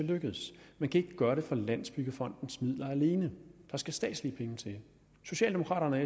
lykkes man kan ikke gøre det for landsbyggefondens midler alene der skal statslige penge til socialdemokraterne og